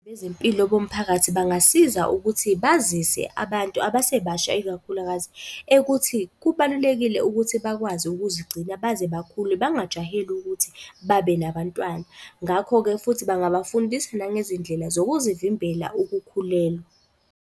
Bezempilo bomphakathi bangasiza ukuthi bazise abantu abasebasha ikakhulukazi, ekuthi kubalulekile ukuthi bakwazi ukuzigcina naze bakhule bangajaheli ukuthi babe nabantwana. Ngakho-ke futhi bangabafundisa nangezindlela zokuyivimbela ukukhulelwa.